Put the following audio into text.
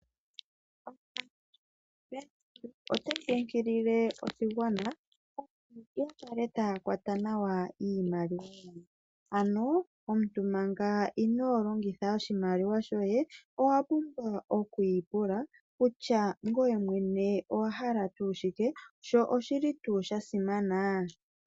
Bank Windhoek otayi kunkilile oshigwana opo shikale tashi kwata nawa iimaliwa yawo, ano omuntu manga ino longitha oshimaliwa shoye kutya ngoye mwene owahala tuu shike sho oshili tuu shasimana.